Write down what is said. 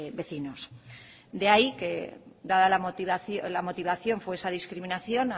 vecinos de ahí que dada la motivación fue esa la discriminación